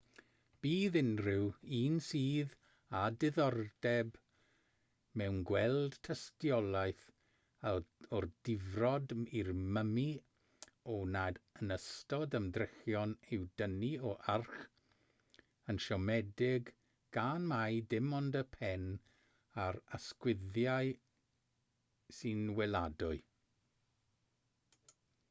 bydd unrhyw un sydd â diddordeb mewn gweld tystiolaeth o'r difrod i'r mymi a wnaed yn ystod ymdrechion i'w dynnu o'r arch yn siomedig gan mai dim ond y pen a'r ysgwyddau sy'n weladwy